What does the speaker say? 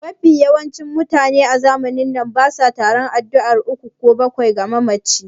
Mafi yawancin mutane a zamanin na basa taron addu'ar uku ko bakwai ga mamaci